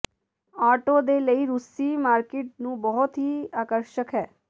auto ਦੇ ਲਈ ਰੂਸੀ ਮਾਰਕੀਟ ਨੂੰ ਬਹੁਤ ਹੀ ਆਕਰਸ਼ਕ ਹੈ